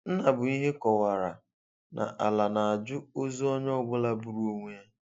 Nnabuihe kọwara na Ala na-ajụ ọzụ ọnyeọbụla gbụrụ ọnwe ya.